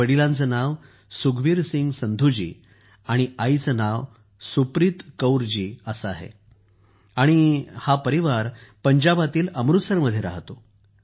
वडिलांचे नाव सुखबीर सिंह संधूजी आणि आईंचं नाव सुप्रीत कौर जी आहे आणि हा परिवार पंजाबातील अमृतसर मध्ये राहतो